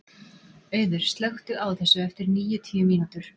Auður, slökktu á þessu eftir níutíu mínútur.